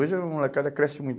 Hoje a molecada cresce muito.